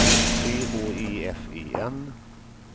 C H E F E N